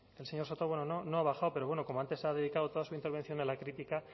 el señor soto no ha bajado pero bueno como antes ha dedicado toda su intervención a la crítica